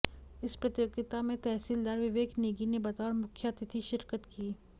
इस प्रतियोगिता में तहसीलदार विवेक नेगी ने बतौर मुख्यातिथि शिरकत की